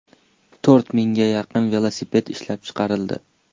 To‘rt mingga yaqin velosiped ishlab chiqarildi.